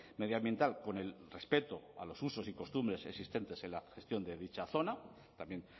medioambiental con el respeto a los usos y costumbres existentes en la gestión de dicha zona también